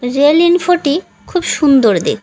rail ইনফোটি খুব সুন্দর দেখ--